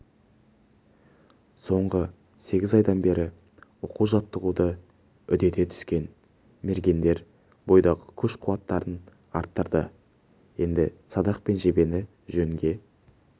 соңғы сегіз айдан бері оқу-жаттығуды үдете түскен мергендер бойдағы күш-қуаттарын арттырды енді садақ пен жебені жөнге